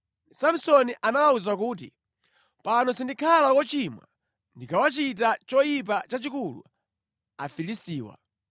Samsoni anawawuza kuti, “Pano sindikhala wochimwa ndikawachita choyipa chachikulu Afilistiwa.”